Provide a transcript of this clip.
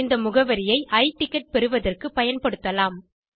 இந்த முகவரியை e ticket பெறுவதற்குப் பயன்படுத்தலாம்